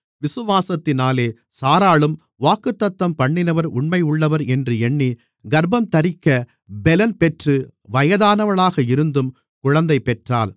விசுவாசத்தினாலே சாராளும் வாக்குத்தத்தம்பண்ணினவர் உண்மையுள்ளவர் என்று எண்ணி கர்ப்பந்தரிக்கப் பெலன் பெற்று வயதானவளாக இருந்தும் குழந்தைப் பெற்றாள்